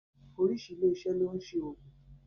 Orísìí ilé iṣẹ́ ni ó ń ṣe oòògùn